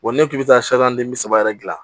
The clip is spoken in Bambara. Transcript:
Wa n'i k'i bɛ taa bi saba yɛrɛ dilan